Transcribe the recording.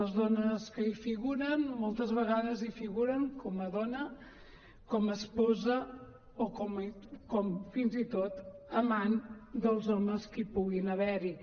les dones que hi figuren moltes vegades hi figuren com a dona com a esposa o com a fins i tot amant dels homes que hi puguin haver hi